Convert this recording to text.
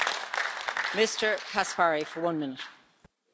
Sehr geehrte Frau Präsidentin, geschätzte Kolleginnen und Kollegen!